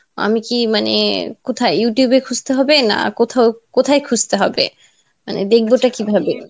আমি কি মানে কোথায় Youtube এ খুজতে হবে না কোথাও কোথায় খুজতে হবে? মানে দেখবোটা কিভাবে?